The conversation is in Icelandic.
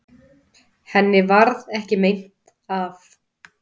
Henni varð ekki meint af.